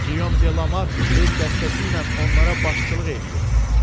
Gilyom Delamark öz dəstəsi ilə onlara başçılıq eləyir.